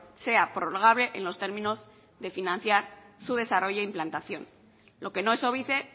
sea prorrogable en los términos de financiar su desarrollo e implantación lo que no es óbice